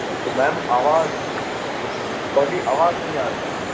ਤੇ Ma'am ਆਵਾਜ਼ ਤੁਹਾਡੀ ਆਵਾਜ਼ ਨਹੀਂ ਆ ਰਹੀ ਆ।